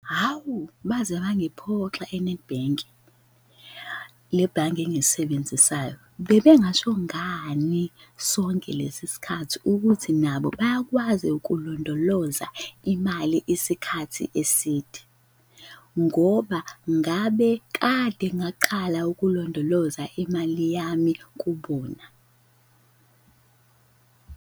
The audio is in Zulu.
Hawu, baze bangiphoxa e-Nedbank, le bhange engilisebenzisayo. Bebengasho ngani sonke lesi sikhathi ukuthi nabo bayakwazi ukulondoloza imali isikhathi eside? Ngoba ngabe kade ngaqala ukulondoloza imali yami kubona.